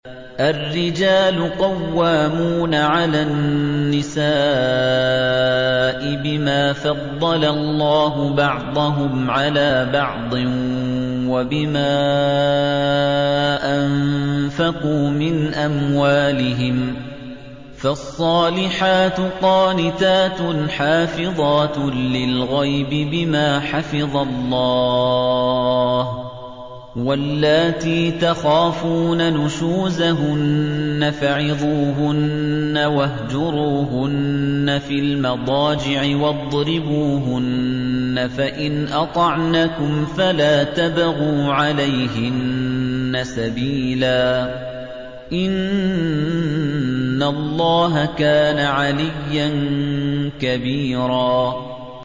الرِّجَالُ قَوَّامُونَ عَلَى النِّسَاءِ بِمَا فَضَّلَ اللَّهُ بَعْضَهُمْ عَلَىٰ بَعْضٍ وَبِمَا أَنفَقُوا مِنْ أَمْوَالِهِمْ ۚ فَالصَّالِحَاتُ قَانِتَاتٌ حَافِظَاتٌ لِّلْغَيْبِ بِمَا حَفِظَ اللَّهُ ۚ وَاللَّاتِي تَخَافُونَ نُشُوزَهُنَّ فَعِظُوهُنَّ وَاهْجُرُوهُنَّ فِي الْمَضَاجِعِ وَاضْرِبُوهُنَّ ۖ فَإِنْ أَطَعْنَكُمْ فَلَا تَبْغُوا عَلَيْهِنَّ سَبِيلًا ۗ إِنَّ اللَّهَ كَانَ عَلِيًّا كَبِيرًا